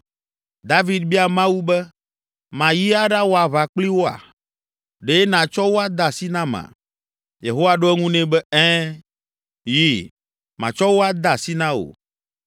David bia Mawu be, “Mayi aɖawɔ aʋa kpli woa? Ɖe nàtsɔ wo ade asi nama?” Yehowa ɖo eŋu nɛ be, “Ɛ̃, yi, matsɔ wo ade asi na wò.”